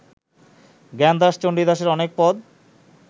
জ্ঞানদাস চণ্ডীদাসের অনেক পদ